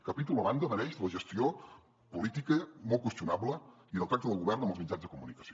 capítol a banda mereix la gestió política molt qüestionable i del tracte del govern amb els mitjans de comunicació